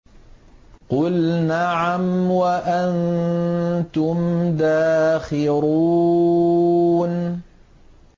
قُلْ نَعَمْ وَأَنتُمْ دَاخِرُونَ